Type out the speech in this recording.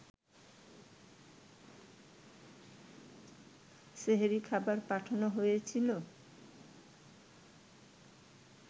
সেহরির খাবার পাঠানো হয়েছিল